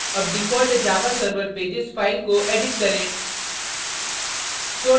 अब default javaserver pages file को edit करें